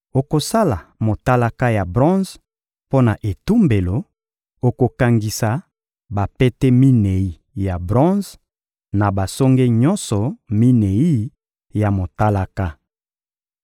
Okosala motalaka ya bronze mpo na etumbelo; okokangisa bapete minei ya bronze, na basonge nyonso minei ya motalaka.